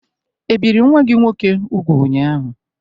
Ebiri nwa gị nwoke úgwù ụnyaahụ?